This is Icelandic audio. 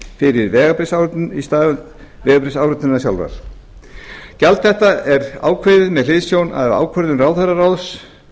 fyrir vegabréfsáritun í stað vegabréfsáritunarinnar sjálfrar gjald þetta er ákvarðað með hliðsjón af ákvörðun ráðherraráðs